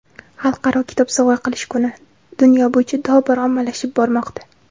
"Xalqaro kitob sovg‘a qilish kuni" dunyo bo‘yicha tobora ommalashib bormoqda.